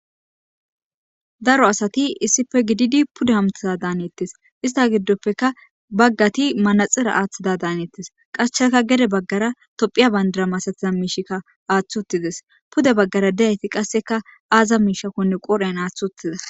daro asati issife gididi puda hamtida daanettes ista giddoppeka baggati manaxira aaththida daanettes qashchaka gede baggara tophiya bandara masatiza miishikka aathth uttides pude baggara deyayti qasseka aaza miishakkonne qorhen aathth uttida